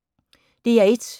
DR1